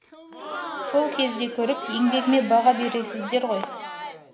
сол кезде көріп еңбегіме баға бересіздер ғой